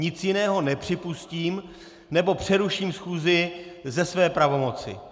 Nic jiného nepřipustím, nebo přeruším schůzi ze své pravomoci.